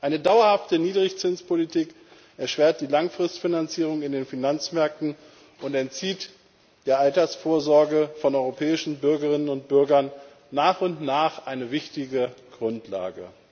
Eine dauerhafte Niedrigzinspolitik erschwert die langfristige Finanzierung auf den Finanzmärkten und entzieht der Altersvorsorge von europäischen Bürgerinnen und Bürgern nach und nach eine wichtige Grundlage.